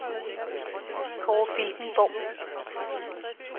Kåre Filtenborg